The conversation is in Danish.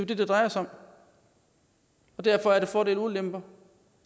det det drejer sig om derfor er der fordele og ulemper